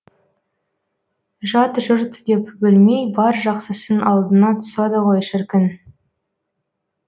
жат жұрт деп бөлмей бар жақсысын алдына тосады ғой шіркін